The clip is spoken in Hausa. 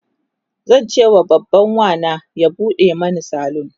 zancewa babban Wana ya buɗe Mani salon